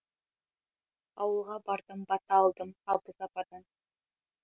ауылға бардым бата алдым абыз ападан